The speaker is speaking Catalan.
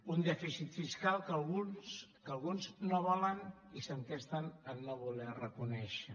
un dèficit fiscal que alguns no volen i s’entesten a no voler reconèixer